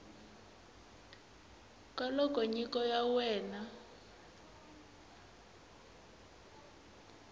ka loko nyiko ya wena